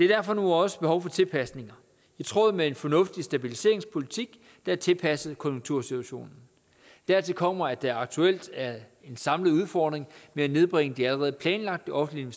derfor også behov for tilpasninger i tråd med en fornuftig stabiliseringspolitik der er tilpasset konjunktursituationen dertil kommer at der aktuelt er en samlet udfordring med at nedbringe de allerede planlagte offentlige